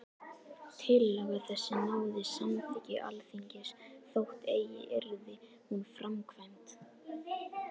Tillaga þessi náði samþykki Alþingis, þótt eigi yrði hún framkvæmd.